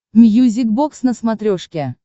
мьюзик бокс на смотрешке